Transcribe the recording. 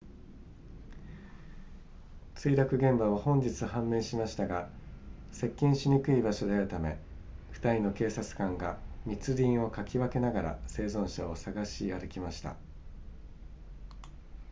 墜落現場は本日判明しましたが接近しにくい場所であるため2人の警察官が密林をかき分けながら生存者を探し歩きました